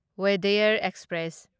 Wodeyar express